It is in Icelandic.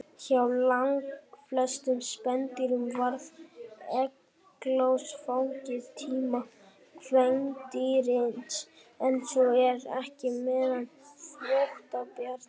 Hjá langflestum spendýrum verður egglos á fengitíma kvendýrsins, en svo er ekki meðal þvottabjarna.